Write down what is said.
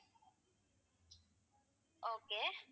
okay